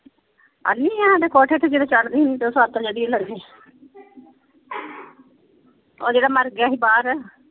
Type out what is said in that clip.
ਅੰਨ੍ਹੀ ਆ ਤੇ ਕੋਠੇ ਤੇ ਜਦੋਂ ਚੜ੍ਹਦੀ ਸੀ ਉਹ ਜਿਹੜਾ ਮਰ ਗਿਆ ਸੀ ਬਾਹਰ।